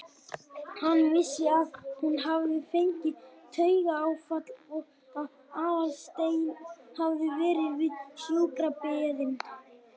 Hann vissi að hún hafði fengið taugaáfall og að Aðalsteinn hafði verið við sjúkrabeðinn.